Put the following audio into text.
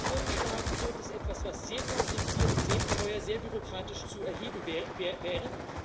Was vorgeschlagen wird, ist etwas, was sehr kompliziert, sehr teuer und sehr bürokratisch zu erheben wäre.